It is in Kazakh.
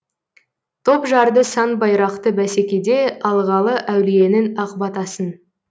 топ жарды сан байрақты бәсекеде алғалы әулиенің ақ батасын